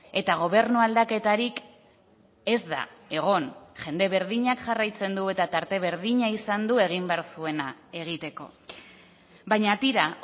eta gobernu aldaketarik ez da egon jende berdinak jarraitzen du eta tarte berdina izan du egin behar zuena egiteko baina tira